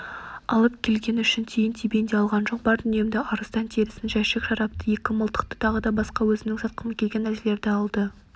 алып келгені үшін тиын-тебен де алған жоқ бар дүниемді арыстан терісін жәшік шарапты екі мылтықты тағы да басқа өзімнің сатқым келген нәрселерді алды